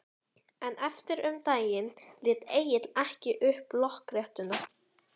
En eftir um daginn lét Egill ekki upp lokrekkjuna.